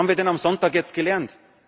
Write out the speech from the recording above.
Was haben wir denn am Sonntag gelernt?